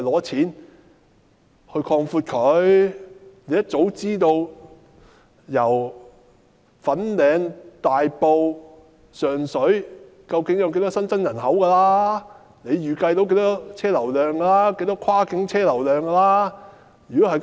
政府一早便應知道大埔、粉嶺、上水究竟有多少新增人口，應能預計到有多少新增車流量，多少跨境車流量。